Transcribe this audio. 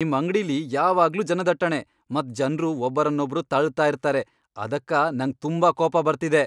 ನಿಮ್ ಅಂಗ್ಡಿಲಿ ಯಾವಾಗ್ಲೂ ಜನದಟ್ಟಣೆ ಮತ್ ಜನ್ರು ಒಬ್ಬರನ್ನೊಬ್ರು ತಳ್ತಾ ಇರ್ತಾರೆ ಅದಕ್ಕ ನಂಗ್ ತುಂಬಾ ಕೋಪ ಬರ್ತಿದೆ.